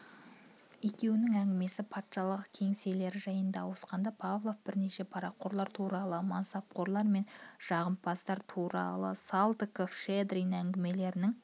екеуінің әңгімесі пашіалық кеңселері жайына ауысқанда павлов бірнеше парақорлар туралы мансапқорлар мен жағымпаздар туралы салтыков-щедрин әңгімелерінің